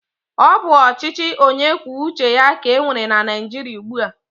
Ọ bụ ọchịchị onyekwuoucheya ka e nwere na Naịjiria ugbu a.